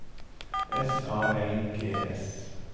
S A L G S